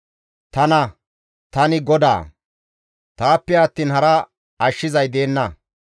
Tana; tani GODAA; Taappe attiin hara ashshizay deenna.